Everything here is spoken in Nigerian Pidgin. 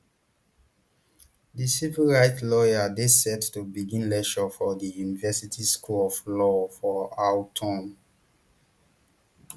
di civil rights lawyer dey set to begin lecture for di university school of law for autumn